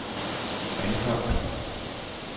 Anholt